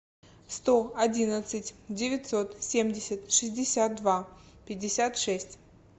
сто одиннадцать девятьсот семьдесят шестьдесят два пятьдесят шесть